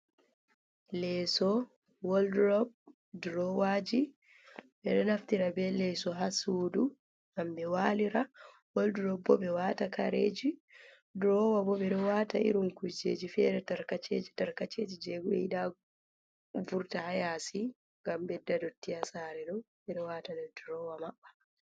Leeso woldurop durowaaji ,ɓe ɗo naftira be leeso haa suudu ngam ɓe waalira .Woldurop bo ɓe ɗo waata kareji ,durowa bo, ɓe ɗo waata irin kujeji fere tarkaceji tarkaceji jey ɓe yiɗa vurta haa yaasi ,ngam bedda ndotti haa sare ɗo. Ɓe ɗo waata nder durowa maɓɓa.